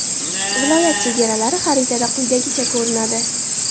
Viloyat chegaralari xaritada quyidagicha ko‘rinadi.